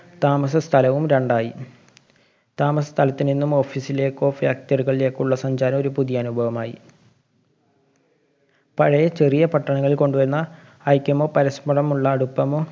താമസസ്ഥലവും രണ്ടായി. താമസസ്ഥലത്തുനിന്നും office ലേക്കോ factory കളിലെക്കോ ഉള്ള സഞ്ചാരം ഒരു പുതിയ അനുഭവമായി. പഴയ ചെറിയ പട്ടണങ്ങളില്‍ കൊണ്ടുവന്ന ഐക്യമോ പരസ്പരമുള്ള അടുപ്പമോ